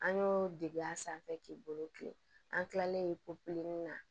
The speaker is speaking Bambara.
An y'o dege a sanfɛ k'i bolo kilen an kilalen na